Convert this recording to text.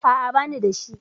A'a, bani da shi.